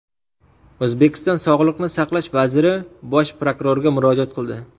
O‘zbekiston Sog‘liqni saqlash vaziri bosh prokurorga murojaat qildi.